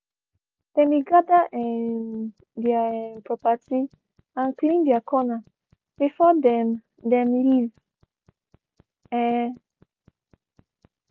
dem be gather um their um property and clean their corner before dem dem leave. um